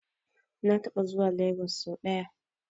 Na taɓa zuwa Lagos sau ɗaya.